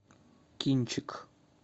кинчик